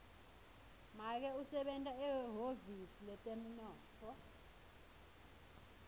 make usebenta ehhovisi letemnotfo